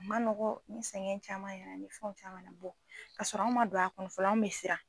A ma nɔgɔ anw sɛgɛn caman ni fɛn caman bɔ k'a sɔrɔ anw ma don a kɔnɔ anw bɛ siran